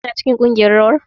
Kina cikin kungiyar rawar?